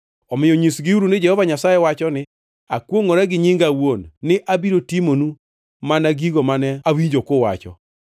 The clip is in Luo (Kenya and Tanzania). Omiyo nyisgiuru ni Jehova Nyasaye owacho ni, ‘Akwongʼora gi nyinga awuon, ni abiro timonu mana gigo mane awinjo kuwacho: